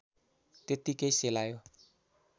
त्यत्तिकै सेलायो